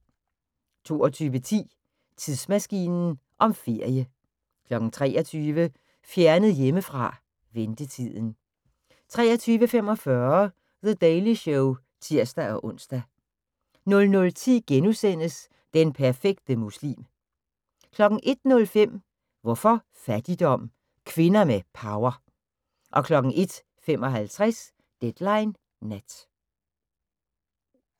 22:10: Tidsmaskinen om ferie 23:00: Fjernet hjemmefra: Ventetiden 23:45: The Daily Show (tir-ons) 00:10: Den perfekte muslim * 01:05: Hvorfor fattigdom? – Kvinder med power 01:55: Deadline Nat